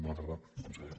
bona tarda conseller